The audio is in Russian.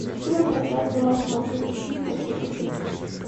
ищи нам трансляцию матча манчестер сити манчестер сити